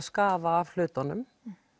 skafa af hlutunum